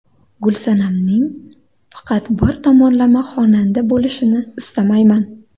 Gulsanamning faqat bir tomonlama xonanda bo‘lishini istamayman.